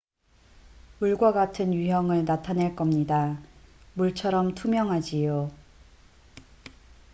"""물과 같은 유형을 나타낼 겁니다. 물처럼 투명하지요.